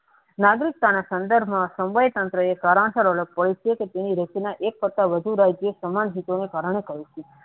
નાગરિકતા ના સંદર્ભના સંવય તંત્ર સારાંશ પ્રત્યેક્ષ તેની રચના એક કરતા વધુ રાજ્યો સમય ઘટવા ને કારણે થાય છે.